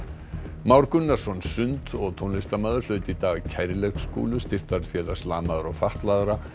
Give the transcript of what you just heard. Már Gunnarsson sund og tónlistarmaður hlaut í dag Styrktarfélags lamaðra og fatlaðra